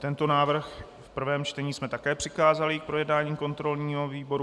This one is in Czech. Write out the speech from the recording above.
Tento návrh v prvém čtení jsme také přikázali k projednání kontrolnímu výboru.